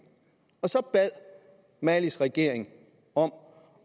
så bad malis regering om